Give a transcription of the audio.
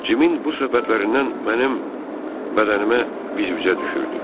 Cimin bu söhbətlərindən mənim bədənimə viz-vizə düşürdü.